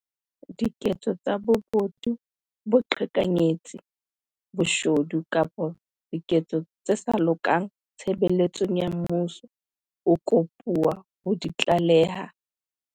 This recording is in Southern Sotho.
diketso tsa bobodu, boqhekanyetsi, boshodu kapa diketso tse sa lokang tshebeletsong ya mmuso, o kopuwa ho di tlaleha.